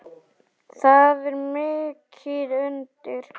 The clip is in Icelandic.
Það er mikið undir.